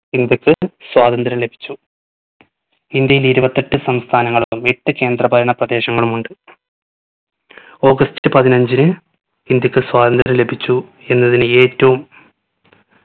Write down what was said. ഇന്ത്യക്ക് സ്വാതന്ത്യ്രം ലഭിച്ചു. ഇന്ത്യയിൽ ഇരുപത്തെട്ട് സംസ്ഥാനങ്ങളും എട്ട് കേന്ദ്രഭരണ പ്രദേശങ്ങളും ഉണ്ട്. august പതിനഞ്ചിന് ഇന്ത്യക്ക് സ്വാതന്ത്യ്രം ലഭിച്ചു എന്നതിൽ ഏറ്റവും